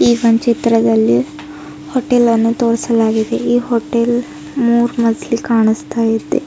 ಈ ಒಂದ್ ಚಿತ್ರದಲ್ಲಿ ಹೋಟೆಲ್ ಅನ್ನು ತೋರಿಸಲಾಗಿದೆ ಈ ಹೋಟೆಲ್ ಮೂರ್ನನ್ತಲ್ಲಿ ಕಾಣಿಸ್ತಾಯಿದೆ.